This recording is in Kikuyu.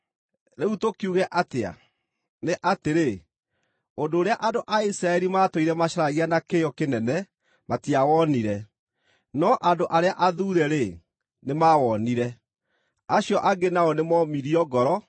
Rĩu tũkiuge atĩa? Nĩ atĩrĩ, ũndũ ũrĩa andũ a Isiraeli maatũire macaragia na kĩyo kĩnene matiawonire, no andũ arĩa athuure-rĩ, nĩmawonire. Acio angĩ nao nĩmoomirio ngoro,